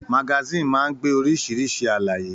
Magasin máa n gbé oríṣiríṣi àlàyé.